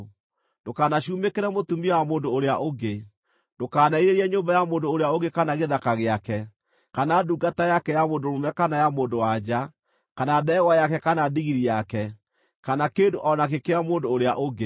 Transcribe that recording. “Ndũkanacumĩkĩre mũtumia wa mũndũ ũrĩa ũngĩ. Ndũkanerirĩrie nyũmba ya mũndũ ũrĩa ũngĩ kana gĩthaka gĩake, kana ndungata yake ya mũndũ mũrũme kana ya mũndũ-wa-nja, kana ndegwa yake kana ndigiri yake, kana kĩndũ o nakĩ kĩa mũndũ ũrĩa ũngĩ.”